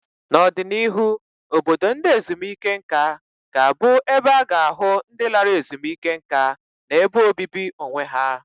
N'ọdịnihu, obodo ndị ezumike nká ga-abụ ebe a ga-ahụ ndị lara ezumike nká na ebe obibi onwe ha.